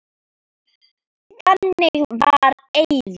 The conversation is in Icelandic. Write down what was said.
Þannig var Eiður.